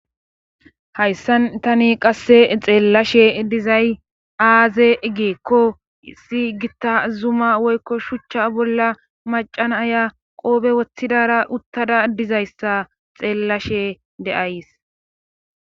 hayssan tani qasse xeellashe dizay aaze giikko issi gitta zuma woykko shuchcha bolla macana aya qoobe woththidara uttada dizayssa xeellashe de,ays